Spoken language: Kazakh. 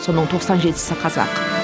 соның тоқсан жетісі қазақ